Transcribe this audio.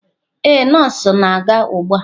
Ee, nọọsụ na-aga ugbu a.